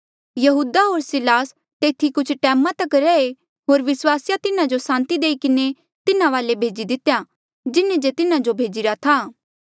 यहूदा होर सिलास तेथी कुछ टैमा तक रहे होर विस्वासिया तिन्हा जो सांति किन्हें तिन्हा वाले भेजी दितेया जिन्हें जे तिन्हा जो भेजिरा था